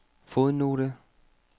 fodnote